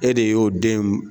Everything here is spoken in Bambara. E de ye y'o den